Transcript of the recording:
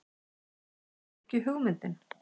Er það ekki hugmyndin?